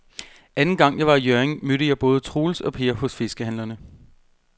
Anden gang jeg var i Hjørring, mødte jeg både Troels og Per hos fiskehandlerne.